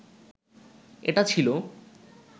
এটা ছিল